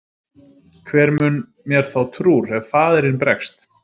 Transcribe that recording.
Hver mun mér þá trúr ef faðirinn bregst?